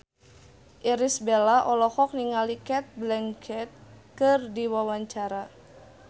Irish Bella olohok ningali Cate Blanchett keur diwawancara